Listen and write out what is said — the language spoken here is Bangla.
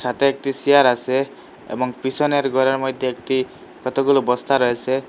সাথে একটি সিয়ার আসে এবং পিসনের ঘরের মইধ্যে একটি কতগুলো বস্তা রয়েসে।